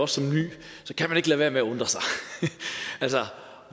som ny ikke lade være med at undre sig altså